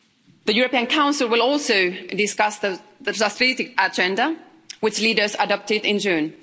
The European Council will also discuss the strategic agenda, which leaders adopted in June.